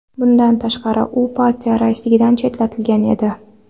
Bundan tashqari, u partiya raisligidan chetlatilgan edi .